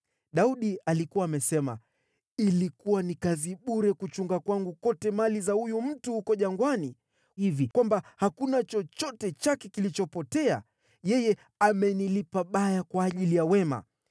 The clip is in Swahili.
Daudi alikuwa amesema, “Ilikuwa ni kazi bure kuchunga kwangu kote mali za huyu mtu huko jangwani hivi kwamba hakuna chochote chake kilichopotea. Yeye amenilipa baya kwa ajili ya wema.